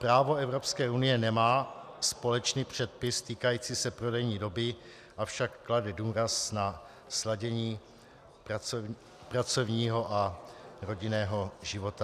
Právo Evropské unie nemá společný předpis týkající se prodejní doby, avšak klade důraz na sladění pracovního a rodinného života.